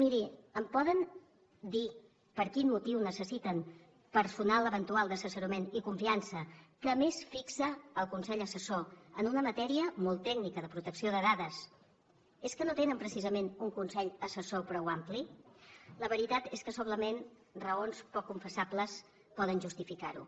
miri em poden dir per quin motiu necessiten personal eventual d’assessorament i confiança que a més fixa el consell assessor en una matèria molt tècnica de protecció de dades és que no tenen precisament un consell assessor prou ampli la veritat és que solament raons poc confessables poden justificar ho